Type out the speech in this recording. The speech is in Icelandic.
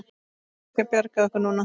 Getur einhver bjargað okkur núna?